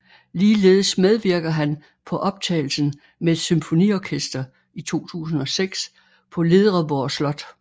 Ligeledes medvirker han på optagelsen med et symfoniorkester i 2006 på Ledreborg Slot